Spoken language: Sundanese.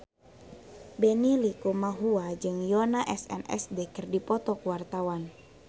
Benny Likumahua jeung Yoona SNSD keur dipoto ku wartawan